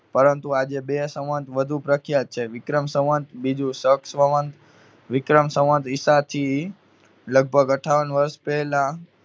પરંતુ આજે બે સંવંત વધુ પ્રખ્યાત છે. વિક્રમ સંવંત, બીજું સંવંત. વિક્રમ સંવંત ઇસાથી લગભગ અઠ્ઠાવન વર્ષ પહેલા